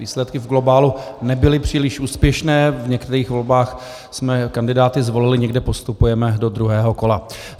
Výsledky v globálu nebyly příliš úspěšné, v některých volbách jsme kandidáty zvolili, někde postupujeme do druhého kola.